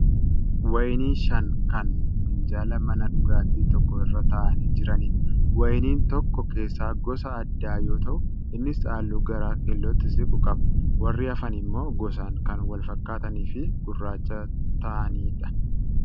Wayinii shan kan minjaala mana dhugaatii tokkoo irra taa'anii jiranidha. Wayiniin tokko keessaa gosa addaa yoo ta'u innis haalluu gara keellootti siiqu qaba. Warri hafan immoo gosaan kan walfakkaataniifi gurraacha kan ta'anidha.